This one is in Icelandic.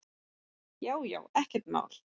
Já já ekkert mál.